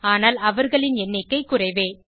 ஆனால் அவர்களின் எண்ணிக்கை குறைவே